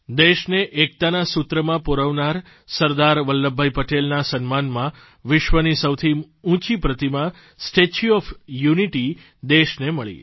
દેશને એકતાના સૂત્રમાં પરોવનાર સરદાર વલ્લભભાઇ પટેલના સન્માનમાં વિશ્વની સૌથી ઊંચી પ્રતિમા સ્ટેચ્યુ ઓએફ યુનિટી દેશને મળી